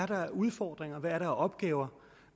der er udfordringer hvad der er af opgaver